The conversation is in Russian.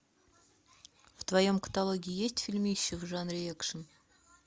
в твоем каталоге есть фильмище в жанре экшн